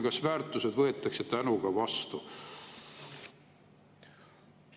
Kas väärtused võetakse tänuga vastu?